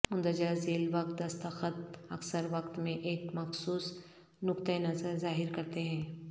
مندرجہ ذیل وقت دستخط اکثر وقت میں ایک مخصوص نقطہ نظر ظاہر کرتے ہیں